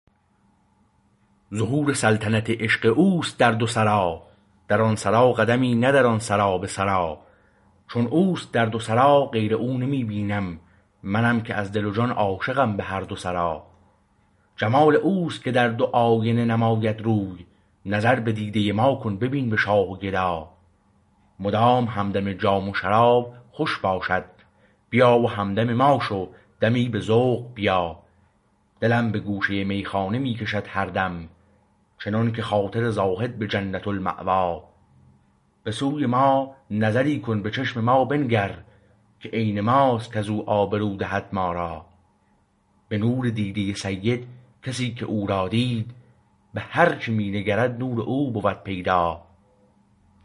ظهور سلطنت عشق او است در دو سرا در آن سرا قدمی نه در آن سرا به سرآ چو او است در دو سرا غیر او نمی بینم منم که از دل و جان عاشقم به هر دو سرا جمال او است که در دو آینه نماید روی نظر به دیده ما کن ببین به شاه و گدا مدام همدم جام شراب خوش باشد بیا و همدم ما شو دمی به ذوق بیا دلم به گوشه میخانه می کشد هر دم چنانکه خاطر زاهد به جنت المأوا به سوی ما نظری کن به چشم ما بنگر که عین ما است کز او آبرو دهد ما را به نور دیده سید کسی که او را دید به هر چه می نگرد نور او بود پیدا